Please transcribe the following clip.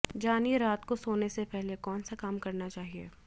जानिए रात को सोने से पहले कौन से काम करना चाहिए